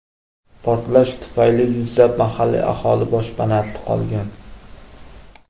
Portlash tufayli yuzlab mahalliy aholi boshpanasiz qolgan.